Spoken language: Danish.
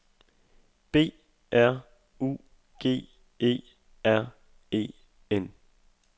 B R U G E R E N